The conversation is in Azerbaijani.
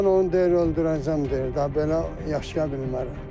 Mən onu deyir öldürəcəm deyir, da belə yaşaya bilmərəm.